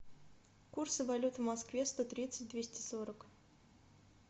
курсы валют в москве сто тридцать двести сорок